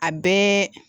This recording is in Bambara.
A bɛɛ